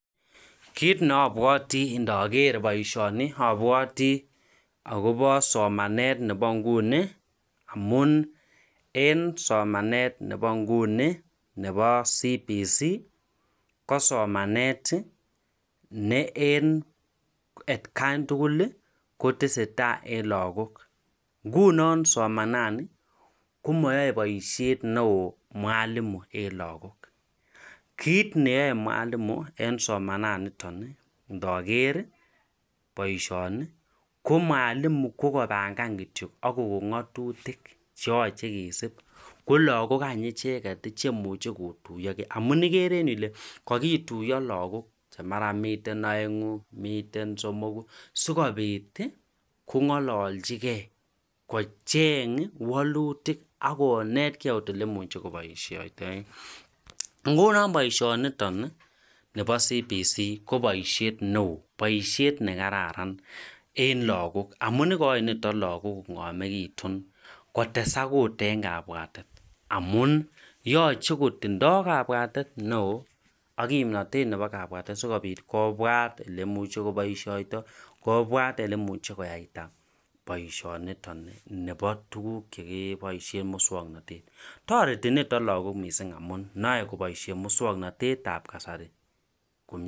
Kiit neobwoti ndoger boisioni obwoti agobo somanen nebo nguni amun en somanet nebo nguni nebo CBC ko somanet ne en atgan tugul kotesetai en logok, ngunon somanani komayoe boisiet neo mwalimu en lagok, kiit neyoe mwalimu en somananiton ii ndoger boisioni ko mwalimu ko kopangan kityo ak kogon ng'atutik cheyoche kisiib ko lagok any icheget cheimuche kotuyogen amun igere en yu ile kagituyo lagok che mara miten oengu, miten somogu sikobit kong'alolchigen kocheng' walutik ak konetgen okot olemuche koboisiotoen ,ngunon boisioniton nebo CBC ko boisiet neo, boisiet nekararan amun igochin niton lagok kong'omegitun kotesak ot en kabwatet amun yoche kotindo kabwatet neo ak kimnotet nebo kabwatet asikobit kobwat oleimuche koboisioto, kobwaat oleimuche koyaita boisioniton nebo tuguk chekiboisien en musong'notet, toreti niton lagok missing amun noe koboisien musong'notet ab kasari komyee.